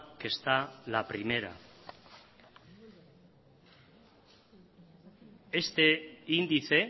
que está la primera este índice